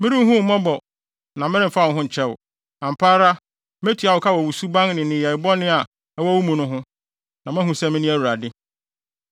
Merenhu wo mmɔbɔ na meremfa wo ho nkyɛ wo. Ampa ara metua wo ka wɔ wo suban ne nneyɛe bɔne a ɛwɔ wo mu no ho, na moahu sɛ mene Awurade.’